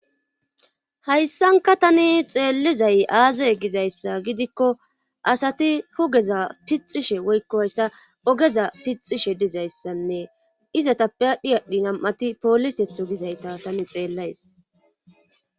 Hayssanka tani xeellizay aaze gizayssa gidikko asati hugeza pixishe woykko hayssa ogeza pixishe dizayssanne izatappe aadhdhi aadhdhi nam7ati poolisetho gizayta tani xeellays.